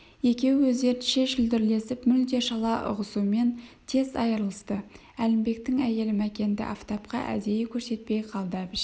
екеуі өздерінше шүлдірлесіп мүлде шала ұғысумен тез айырылысты әлімбектің әйелі мәкенді афтапқа әдейі көрсетпей қалды әбіш